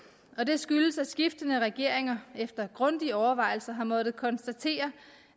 og det skyldes at skiftende regeringer efter grundige overvejelser har måttet konstatere